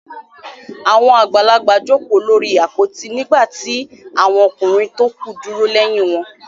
Àwọn àgbàlagbà jókòó lórí àpótí nígbà tí àwọn ọkùnrin tókù dúró lẹ́yìn wọn.